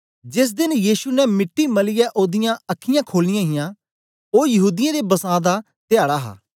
जेस देन यीशु ने मिट्टी मलियै ओदीयां अखीयाँ खोलीयां हां ओ यहूदीयें दा बसां दा धयाडा हा